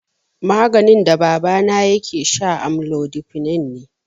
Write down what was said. Maganin da babana yake sha amlodipine ne.